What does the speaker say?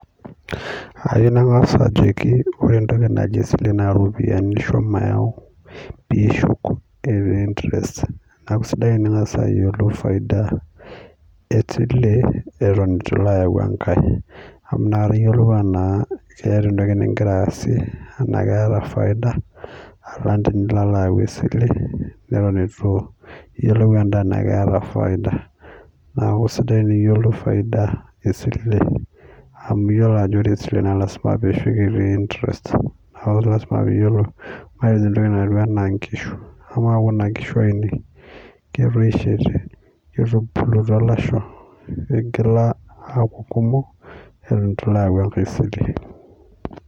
kayieu nangas ajoki ore esile naa pee isho interest esile eton etu ilo ayau enkae, amu inakata iyiolou keeta entoki nigira asie tenaa keeta faida, alang tinilo ayau esile, eton etu iyiolou edaa tenaa keta faida, naa ore sii pee iyiolou faida esile amu iyiolo esile ajo ilasima pee , iyiolou entoki najio inkishu amaa ketoishote eton etu ilo ayau enkae sile.